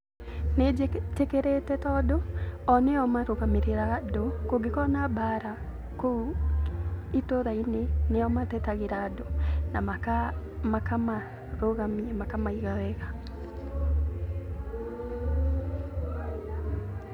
Nĩnjĩtĩkĩrĩte tondũ o nĩo marũgamĩrĩraga andũ, kũngĩkorwo na mbaara kũu itũũra-inĩ nĩo matetagĩra andũ na makamarũgamia makamaiga wega.